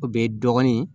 O bɛ dɔgɔnin